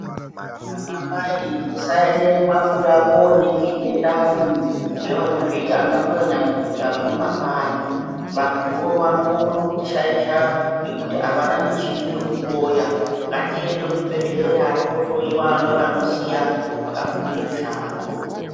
Ana mai tisaende nemabuya koningirwe ndani ngevanozviti ana mbuya nyamukuta vemumakanyi vantuwo vanokone kuti shaisha ngokuti avana muchini yekuhloya ngatiende kuzvibhedhlera tohloiwa ngevanoziya vakafundire mushando.